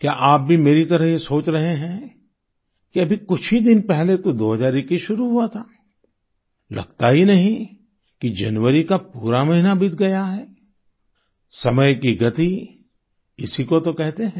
क्या आप भी मेरी तरह ये सोच रहे हैं कि अभी कुछ ही दिन पहले तो 2021 शुरू हुआ था लगता ही नहीं कि जनवरी का पूरा महीना बीत गया है समय की गति इसी को तो कहते हैं